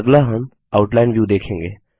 अगला हम outline view देखेंगे